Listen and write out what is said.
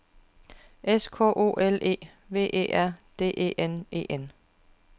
S K O L E V E R D E N E N